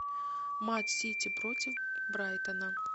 матч сити против брайтона